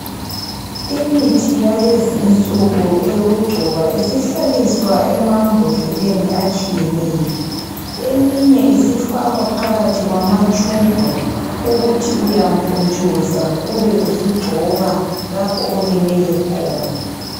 Imithi yalezi insuku eyokugcoba isihlaliswa emambodleleni atshiyeneyo. Eminye isifakwa phakathi kwamatshubhu ukuthi uyampuntshuza ube usugcoba lapho olimele khona.